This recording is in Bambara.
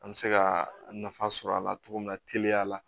An bɛ se ka nafa sɔrɔ a la cogo min na teliya la